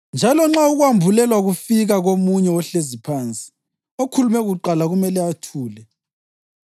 Njalo nxa ukwambulelwa kufika komunye ohlezi phansi, okhulume kuqala kumele athule.